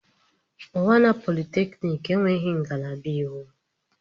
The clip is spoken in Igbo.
Unwanna polytechniki enweghị ngalaba iwu.